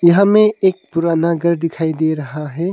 यहां मैं एक पुराना घर दिखाई दे रहा है।